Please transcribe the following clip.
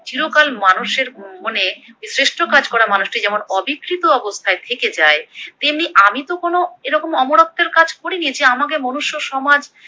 চিরকাল মানুষের মনে শ্রেষ্ঠ কাজ করা মানুষটি যেমন অবিকৃত অবস্থায় থেকে যায় তেমনি আমি তো কোনো অমরত্বের কাজ করিনি যে আমাকে মনুষ্য সমাজ